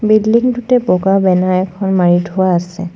Building টোতে বগা banner এখন মাৰি থোৱা আছে।